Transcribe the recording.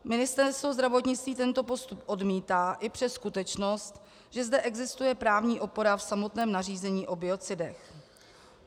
Ministerstvo zdravotnictví tento postup odmítá i přes skutečnost, že zde existuje právní opora v samotném nařízení o biocidech.